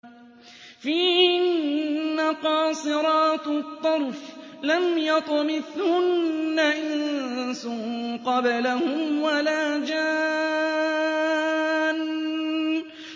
فِيهِنَّ قَاصِرَاتُ الطَّرْفِ لَمْ يَطْمِثْهُنَّ إِنسٌ قَبْلَهُمْ وَلَا جَانٌّ